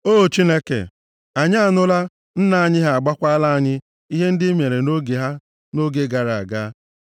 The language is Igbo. O Chineke, anyị anụla; nna anyị ha agwakwala anyị ihe ndị i mere nʼoge ha, nʼoge gara aga.